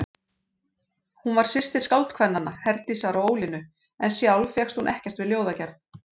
Hún var systir skáldkvennanna, Herdísar og Ólínu, en sjálf fékkst hún ekkert við ljóðagerð.